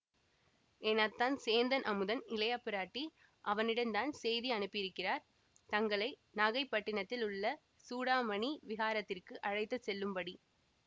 என் அத்தான் சேந்தன் அமுதன் இளையபிராட்டி அவனிடந்தான் செய்தி அனுப்பியிருக்கிறார் தங்களை நாகைப்பட்டினத்தில் உள்ள சூடாமணி விஹாரத்திற்கு அழைத்து செல்லும்படி